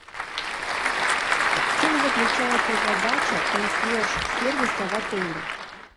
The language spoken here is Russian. в чем заключается задача консьерж сервиса в отеле